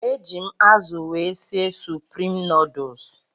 Eji m azụ wee sie suprim nuduls.